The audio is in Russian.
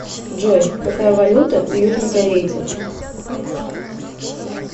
джой какая валюта у южнокорейцев